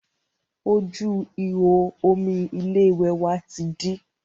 Ojú ìhò omi ilé ìwẹ̀ wa ti dí